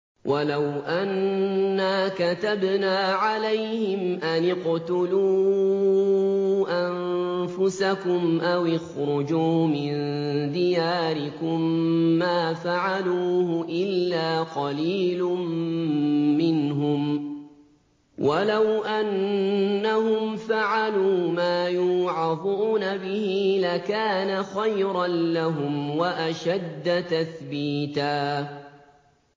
وَلَوْ أَنَّا كَتَبْنَا عَلَيْهِمْ أَنِ اقْتُلُوا أَنفُسَكُمْ أَوِ اخْرُجُوا مِن دِيَارِكُم مَّا فَعَلُوهُ إِلَّا قَلِيلٌ مِّنْهُمْ ۖ وَلَوْ أَنَّهُمْ فَعَلُوا مَا يُوعَظُونَ بِهِ لَكَانَ خَيْرًا لَّهُمْ وَأَشَدَّ تَثْبِيتًا